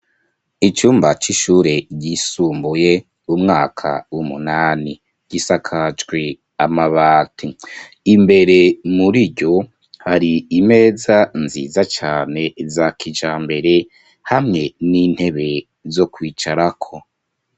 Icumba c'ishure ryisumbuye umwaka w'umunani gisakajwe amabati. Imbere muriryo, hari imeza nziza cane za kijambere hamwe n'intebe zo kwicarako.